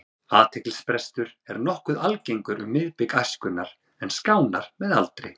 Athyglisbrestur er nokkuð algengur um miðbik æskunnar en skánar með aldri.